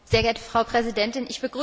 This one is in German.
Sehr geehrte Frau Präsidentin!